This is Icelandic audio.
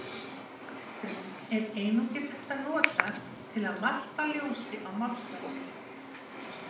Slíkar skýrslur er einungis hægt að nota til að varpa ljósi á málsatvik.